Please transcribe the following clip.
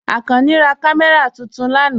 Akànní rá kàmẹ́ra tuntun lànà.